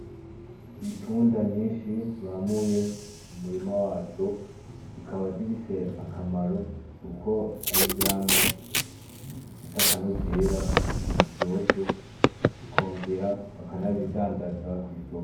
Itunda nyinshi bamuye ku murima waco zikaba zifise akamaro kuko ari vyamwa bifise akanovera iryoshe ikongera bakana zidandaza kw'isoko.